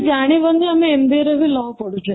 ଜାଣିବାନି ଯେ ଆମେ MBA ରେ ବି law ପଢ଼ୁଛେ